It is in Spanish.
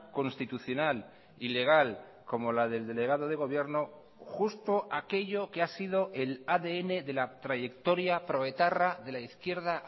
constitucional ilegal como la del delegado de gobierno justo aquello que ha sido el adn de la trayectoria proetarra de la izquierda